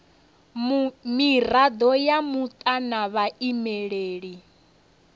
mirado ya muta na vhaimeleli